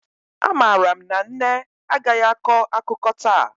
Amaara m na nne agaghị akọ akụkọ taa